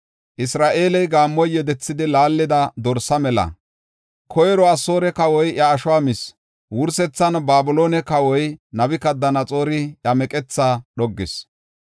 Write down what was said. “Isra7eeley gaammoy yedethidi laallida dorsaa mela. Koyro Asoore kawoy iya ashuwa mis; wursethan Babiloone kawoy Nabukadanaxoori iya meqethaa dhoggis.”